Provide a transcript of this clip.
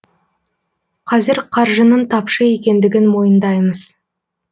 қазір қаржының тапшы екендігін мойындаймыз